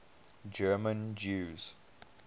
german jews